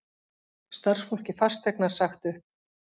Starfsfólki Fasteignar sagt upp